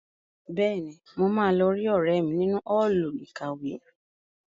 Bẹ́ẹ̀ni, mo máa lọ rí ọ̀rẹ́ mi nínú Ọ́ọ̀lù ìkàwé